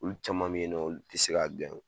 Olu caman bɛ yen nɔ, olu tɛ se ka o.